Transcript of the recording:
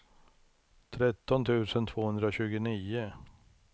tretton tusen tvåhundratjugonio